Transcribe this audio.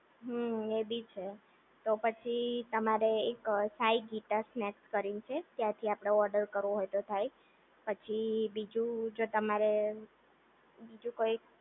હુમ્મ એ બી છે, તો પછી તમારે પછી એક સાંઈ-ગીતા સ્નેક્સ કરીને છે. ત્યાંથી આપણે ઓર્ડર કરવો હોય તો થાય, પછી બીજું જો તમારે, બીજું કોઈ